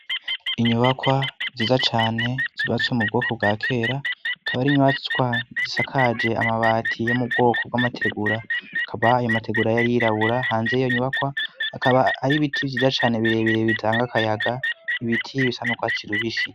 Inyubakwa nziza cane zubatswe mu bwoko bwa kera, akaba ari inyubatswa zisakaje amabati yo mu bwoko bw'amategura akaba ayo mategura yari yirabura. Hanze y'iyo nyubakwa, hakaba hari ibiti vyiza cane birebirebe bitanga akayaga ibiti bisanuka tsirubishi.